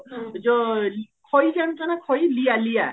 ଯୋ ଖଇ ଜାଣିଚ ନାଁ ଖଇ ଲିୟା ଲିୟା